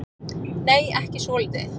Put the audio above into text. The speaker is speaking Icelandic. Nei, ekki svolítið.